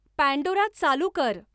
Pandora चालू कर